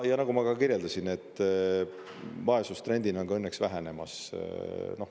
Ja nagu ma ka kirjeldasin, et vaesus trendina on ka õnneks vähenemas.